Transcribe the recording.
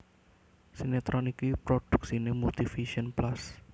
Sinetron iki prodhuksiné Multivision Plus